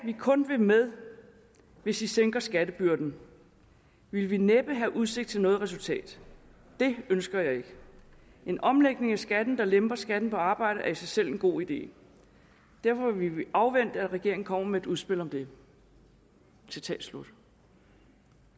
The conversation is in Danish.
vil kun være med hvis i sænker skattebyrden ville vi næppe have udsigt til noget resultat det ønsker jeg ikke en omlægning af skatten der lemper skatten på arbejde er i sig selv en god idé derfor vil vi afvente at regeringen kommer med et udspil om det citat slut